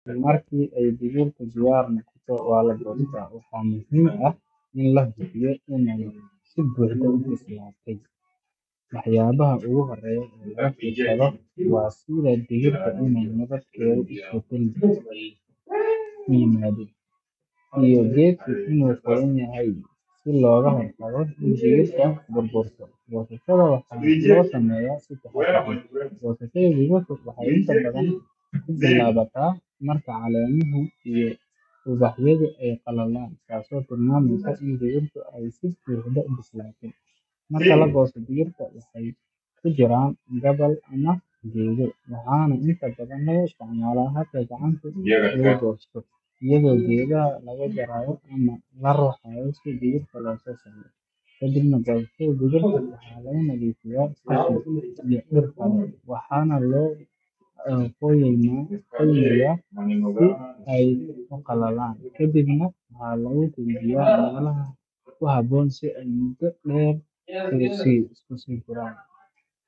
Habbanka qamadiga waa mid muhiim u ah nolosha aadanaha, waana caddayn qiimaha beeraha iyo horumarka dhaqanka cunnada ee dunida, sababtoo ah qamadigu waa mid ka mid ah xubnaha ugu muhiimsan cuntada aadanaha, waxaana lagu isticmaalaa in lagu sameeyo rooti, macaroon, baasto, iyo noocyo kale oo cunto ah, waxaana jirta faa’iidooyin badan oo caafimaad ku saabsan cunnada qamadiga, sida ay u tahay xoogga jidhka, kor u qaadida tamarta, iyo taageerida nafaqada maaddada, waxaana laga beeraa meelo badan oo adduunka ah.